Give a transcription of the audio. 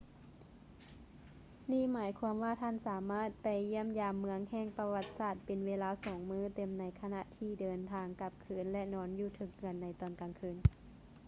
ນີ້ຫມາຍຄວາມວ່າທ່ານສາມາດໄປຢ້ຽມຢາມເມືອງແຫ່ງປະຫວັດສາດເປັນເວລາສອງມື້ເຕັມໃນຂະນະທີ່ເດີນທາງກັບຄືນ ແລະ ນອນຢູ່ເທິງເຮືອໃນຕອນກາງຄືນ